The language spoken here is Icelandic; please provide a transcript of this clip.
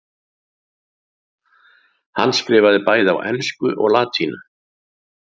Hann skrifaði bæði á ensku og latínu.